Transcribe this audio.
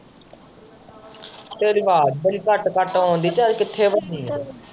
ਤੇਰੀ ਆਵਾਜ਼ ਬੜੀ ਕੱਟ-ਕੱਟ ਆਉਣ ਦਈ ਜਾ, ਕਿੱਥੇ ਵੜੀ ਏ।